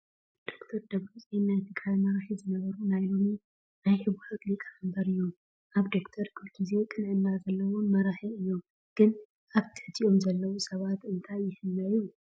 ዶ/ር ደብረፅዮን ናይ ትግራይ መራሒ ዝነበሩ ናይ ሎሚ ናይ ሕዋሓት ሊቀ-መምበር እዮም:: ኣብ ዶ/ር ኩሉ ግዜ ቅንዕና ዘለዎም መራሒ እዩም ::ግን ኣብ ትሕቲኦም ዘለው ሰባት እንታይ ይሕመዩ ?